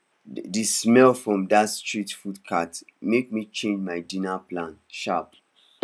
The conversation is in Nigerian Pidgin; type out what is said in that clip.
the smell from that street food cart make me change my dinner plan sharp